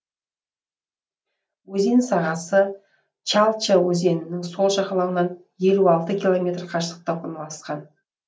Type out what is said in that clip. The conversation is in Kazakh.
өзен сағасы чальча өзенінің сол жағалауынан елу алты километр қашықтықта орналасқан